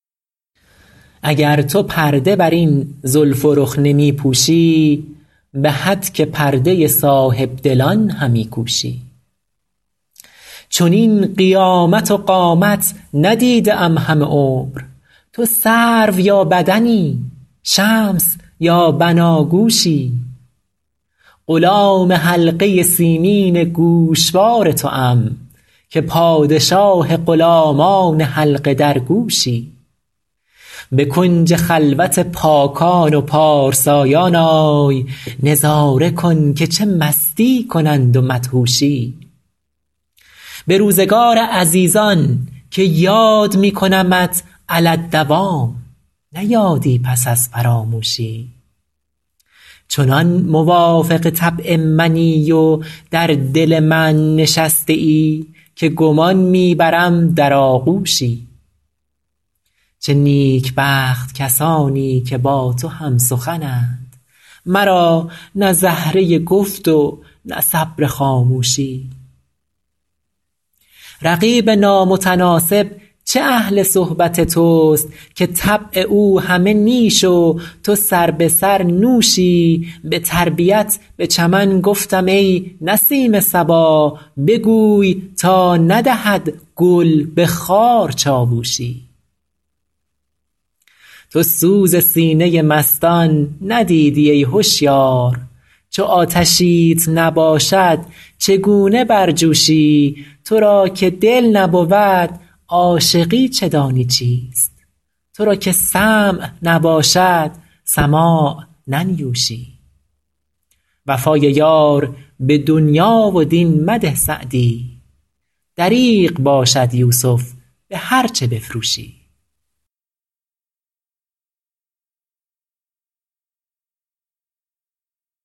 اگر تو پرده بر این زلف و رخ نمی پوشی به هتک پرده صاحب دلان همی کوشی چنین قیامت و قامت ندیده ام همه عمر تو سرو یا بدنی شمس یا بناگوشی غلام حلقه سیمین گوشوار توام که پادشاه غلامان حلقه درگوشی به کنج خلوت پاکان و پارسایان آی نظاره کن که چه مستی کنند و مدهوشی به روزگار عزیزان که یاد می کنمت علی الدوام نه یادی پس از فراموشی چنان موافق طبع منی و در دل من نشسته ای که گمان می برم در آغوشی چه نیکبخت کسانی که با تو هم سخنند مرا نه زهره گفت و نه صبر خاموشی رقیب نامتناسب چه اهل صحبت توست که طبع او همه نیش و تو سربه سر نوشی به تربیت به چمن گفتم ای نسیم صبا بگوی تا ندهد گل به خار چاووشی تو سوز سینه مستان ندیدی ای هشیار چو آتشیت نباشد چگونه برجوشی تو را که دل نبود عاشقی چه دانی چیست تو را که سمع نباشد سماع ننیوشی وفای یار به دنیا و دین مده سعدی دریغ باشد یوسف به هرچه بفروشی